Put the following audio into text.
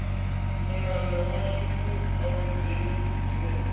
mulanda washu mu awedzeni henefha